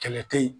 Kɛlɛ te ye